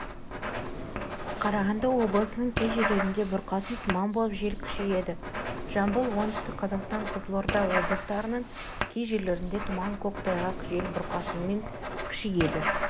қарағанды облысының кей жерлерінде бұрқасын тұман болып жел күшейеді жамбыл оңтүстік қазақстан қызылорда облыстарының кей жерлерінде тұман көктайғақ жел бұрқасынмен күшейеді